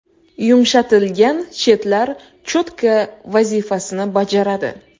Yumshatilgan chetlar cho‘tka vazifasini bajaradi.